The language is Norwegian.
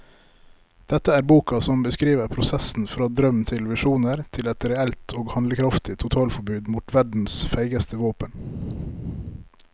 Dette er boka som beskriver prosessen fra drøm til visjoner til et reelt og handlekraftig totalforbud mot verdens feigeste våpen.